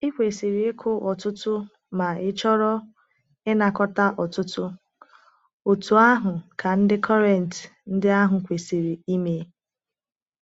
I kwesịrị ịkụ ọtụtụ ma ịchọrọ ịnakọta ọtụtụ, otú ahụ ka ndị Kọrịnt ndị ahụ kwesiri ime.